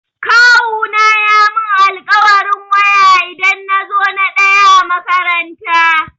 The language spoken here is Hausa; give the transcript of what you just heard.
Kawuna ya mun alkawarin waya idan na zo na ɗaya a makaranta.